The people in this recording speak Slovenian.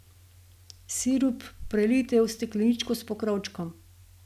Sirup prelijte v steklenico s pokrovčkom.